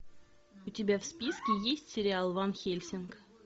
у тебя в списке есть сериал ван хельсинг